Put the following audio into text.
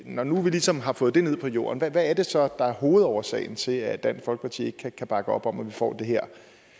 når nu vi ligesom har fået det ned på jorden hvad er det så der er hovedårsagen til at dansk folkeparti ikke kan bakke op om at vi får det her